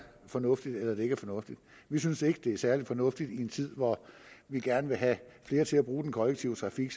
fornuftigt eller det ikke er fornuftigt vi synes ikke at det er særlig fornuftigt i en tid hvor vi gerne vil have flere til at bruge den kollektive trafik